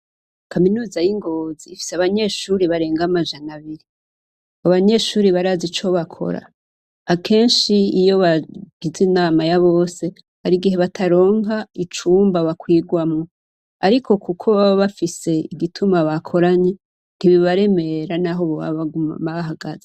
Kaminuza y'i Ngozi ifise abanyeshure barenga amajana abiri. Abanyeshure barazi ico bakora; akenshi iyo bagize inama ya bose, hari igihe bataronka icumba bakwirwamwo. Ariko kuko baba bafise igituma bakoranye, ntibibaremera naho boba baguma bahagaze.